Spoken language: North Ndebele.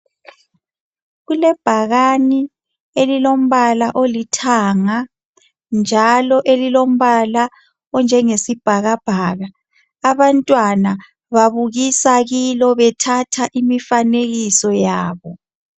Kulebhakani elilombala olithanga, njalo elilombala onjengesibhakabhaka, abantwana babukusa kilo bethatha omifanekiso yabo.